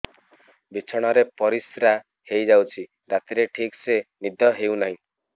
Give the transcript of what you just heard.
ବିଛଣା ରେ ପରିଶ୍ରା ହେଇ ଯାଉଛି ରାତିରେ ଠିକ ସେ ନିଦ ହେଉନାହିଁ